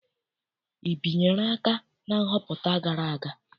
I binyere aka na nhọpụta gara aga?